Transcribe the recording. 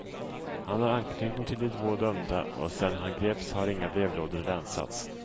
Han har anknytning till de två dömda och sedan han greps har inga brevlådor länsats.